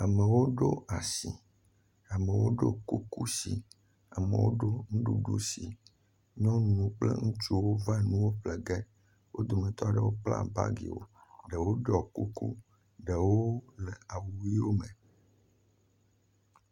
Amewo ɖo asi, amewo ɖo kuku si, amewo ɖo nuɖuɖu si. Nyɔnuwo kple ŋutsuwo va nu ƒle ge. Wo dometɔ aɖewo kpla bagiwo, ɖewo ɖɔ kuku, ɖewo le awu ʋɛ̃wo me.